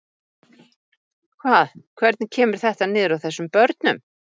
Hvað, hvernig kemur þetta niður á þessum börnum?